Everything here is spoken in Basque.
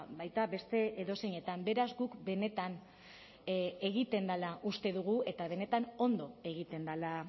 baita beste edozeinetan beraz guk benetan egiten dela uste dugu eta benetan ondo egiten dela